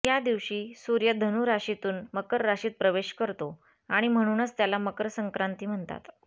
या दिवशी सूर्य धनु राशीतून मकर राशीत प्रवेश करतो आणि म्हणूनच त्याला मकर संक्रांती म्हणतात